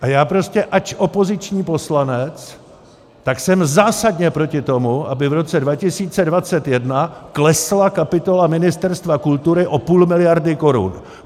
A já prostě, ač opoziční poslanec, tak jsem zásadně proti tomu, aby v roce 2021 klesla kapitola Ministerstva kultury o půl miliardy korun.